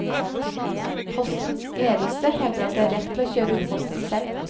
Postens ledelse hevder at de har rett til å kjøre ut posten selv.